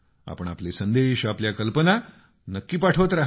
आपण आपले संदेश आपल्या कल्पना नक्की पाठवत रहा